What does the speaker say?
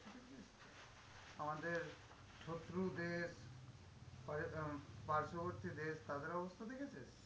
আমাদের শত্রুদের পার্শ্ববর্তী দেশ, তাদের অবস্থা দেখেছিস?